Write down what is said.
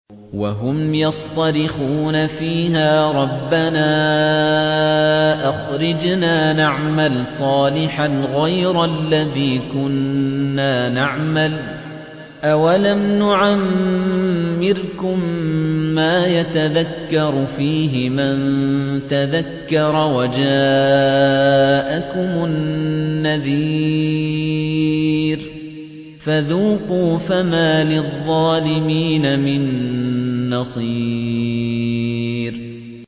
وَهُمْ يَصْطَرِخُونَ فِيهَا رَبَّنَا أَخْرِجْنَا نَعْمَلْ صَالِحًا غَيْرَ الَّذِي كُنَّا نَعْمَلُ ۚ أَوَلَمْ نُعَمِّرْكُم مَّا يَتَذَكَّرُ فِيهِ مَن تَذَكَّرَ وَجَاءَكُمُ النَّذِيرُ ۖ فَذُوقُوا فَمَا لِلظَّالِمِينَ مِن نَّصِيرٍ